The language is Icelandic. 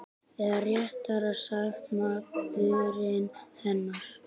Eða réttara sagt maðurinn hennar.